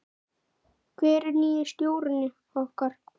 Hver er nýi stjórinn okkar?